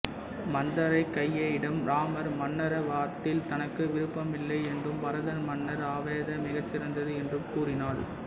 மந்தரை கைகேயியிடம் இராமர் மன்னராவத்தில் தனக்கு விருப்பம் இல்லை என்றும் பரதன் மன்னர் ஆவதே மிகச் சிறந்தது என்றும் கூறினாள்